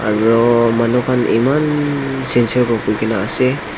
aro manu khan eman sincere para bohi kena ase.